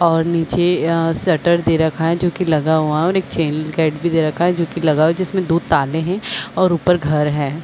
और निचे अअअ शटर दे रखा है जो की लगा हुआ है और एक चैन गेट भी दे रखा है जो की लगा हुआ है जिसमे दो ताले है और ऊपर घर है।